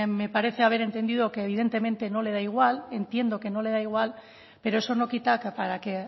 me parece haber entendido que evidentemente no le da igual entiendo que no le da igual pero eso no quita que para que